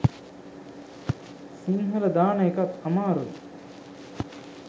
සිංහල දාන එකත් අමාරුයි